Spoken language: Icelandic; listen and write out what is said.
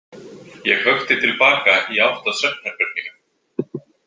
Ég hökti til baka í átt að svefnherberginu.